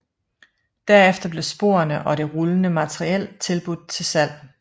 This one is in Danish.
Derefter blev sporene og det rullende materiel udbudt til salg